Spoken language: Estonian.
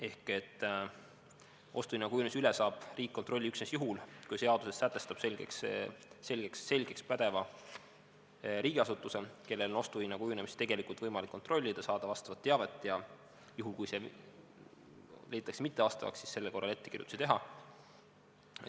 Ehk ostuhinna kujunemise üle saab riik kontrolli üksnes juhul, kui seaduses sätestatakse selgelt pädev riigiasutus, kellel on ostuhinna kujunemist tegelikult võimalik kontrollida, saada vastavat teavet ja juhul, kui leitakse, et see on mittevastav, siis sellel korral ettekirjutusi teha.